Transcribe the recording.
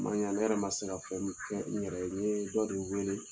A man ɲa ne yɛrɛ man se ka fɛn kɛ n yɛrɛ ye n ye dɔ de weele.